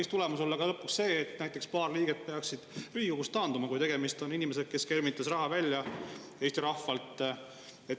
Kas tulemus võiks lõpuks olla see, et näiteks paar liiget peaksid Riigikogust taanduma, kui tegemist on inimesega, kes skeemitas Eesti rahvalt raha välja?